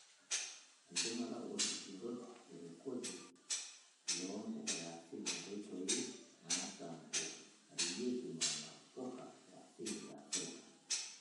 Enchumata oolkigerot le rekodi loo mpuka e asili, nkoitoi naasampuarieki nena puka e asili e Afrika.